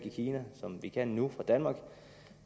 i kina som vi kan nu